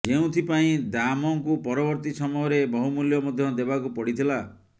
ଯେଉଁଥିପାଇଁ ଦାମଙ୍କୁ ପରବର୍ତ୍ତୀ ସମୟରେ ବହୁମୂଲ୍ୟ ମଧ୍ୟ ଦେବାକୁ ପଡିଥିଲା